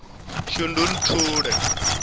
shundunthule